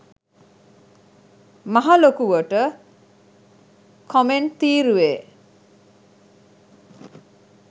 මහ ලොකුවට කොමෙන්ට් තීරුවේ